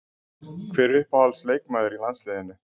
Hver er uppáhalds leikmaður í landsliðinu?